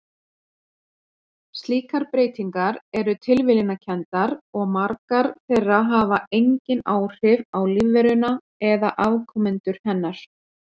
Slíkar breytingar eru tilviljunarkenndar og margar þeirra hafa engin áhrif á lífveruna eða afkomendur hennar.